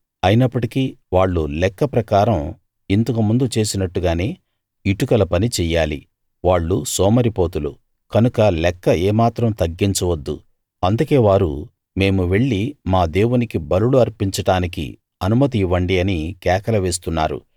అయినప్పటికీ వాళ్ళు లెక్క ప్రకారం ఇంతకు ముందు చేసినట్టుగానే ఇటుకల పని చెయ్యాలి వాళ్ళు సోమరిపోతులు కనుక లెక్క ఏమాత్రం తగ్గించవద్దు అందుకే వారు మేము వెళ్లి మా దేవునికి బలులు అర్పించడానికి అనుమతి ఇవ్వండి అని కేకలు వేస్తున్నారు